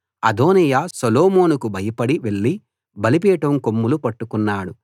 అదోనీయా సొలొమోనుకు భయపడి వెళ్ళి బలిపీఠం కొమ్ములు పట్టుకున్నాడు